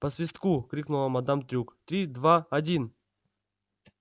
по свистку крикнула мадам трюк три два один